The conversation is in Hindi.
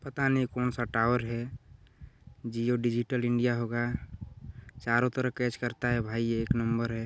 पता नहीं कौन सा टॉवर है जियो डिजिटल इंडिया होगा चारो तरफ कैच करता है भाई ये एक नंबर है।